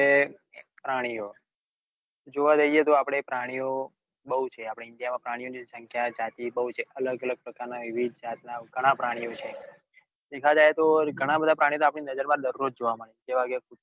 પ્રાણીઓ જોવા જઈએ તો આપડે પ્રાણીઓ બૌ છે આપડા ઇન્ડિયા માં પ્રાણીઓ ની સંખ્યા જાતિ બૌ છે. અલગ અલગ પ્રકારના વિવિદ જાત ના ગણા પ્રાણીઓ છે. ગણા બધા પ્રાણીઓ તો આપડી નજર માં દરરોઝ જોવા મળે જેવા કે